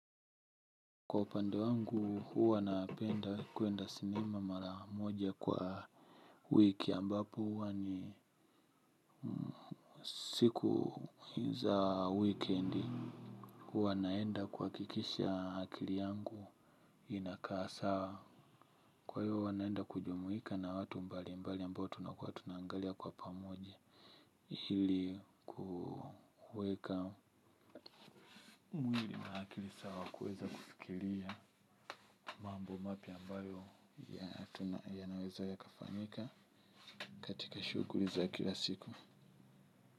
Kwa upande wangu, huwa napenda kuenda sinema mara moja kwa wiki ambapo huwa ni siku za wikendi. Huwa naenda kuhakikisha akili yangu inakaa sawa. Kwa hiyo, huwa naenda kujumuika na watu mbali mbali ambao tunakua tuna angalia kwa pamoja ili kuweka mwili wake sawa kuweza kufikiria mambo mapya ambayo. Ya tuna yanaweza yaka fanyika katika shughuli za kila siku.